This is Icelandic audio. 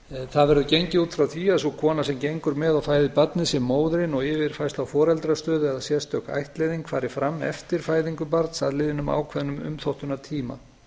það verður gengið út frá því að sú kona sem gengur með og fæðir barnið sem móðirin og yfirfærsla á foreldrastöðu eða sérstök ættleiðing fari fram eftir fæðingu barns að liðnum ákveðnum umþóttunartíma